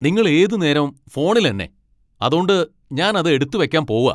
നിങ്ങള് ഏതു നേരോം ഫോണിലെന്നെ, അതോണ്ട് ഞാൻ അത് എടുത്തു വെക്കാൻ പോവാ.